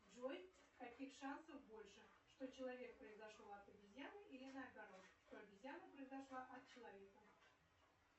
джой каких шансов больше что человек произошел от обезьяны или наоборот что обезьяна произошла от человека